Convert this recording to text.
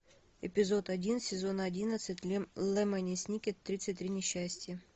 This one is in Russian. эпизод один сезон одиннадцать лемони сникет тридцать три несчастья